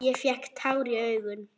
Ég fékk tár í augun.